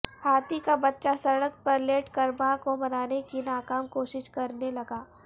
ہاتھی کا بچہ سڑک پر لیٹ کر ماں کو منانے کی ناکام کوشش کرنے لگا